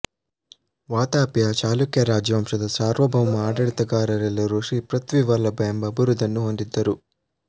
ವಾತಾಪಿಯ ಚಾಲುಕ್ಯ ರಾಜವಂಶದ ಸಾರ್ವಭೌಮ ಆಡಳಿತಗಾರೆಲ್ಲರೂ ಶ್ರೀಪ್ರಥ್ವಿವಲ್ಲಭ ಎಂಬ ಬಿರುದನ್ನು ಹೊಂದಿದ್ದರು